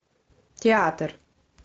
театр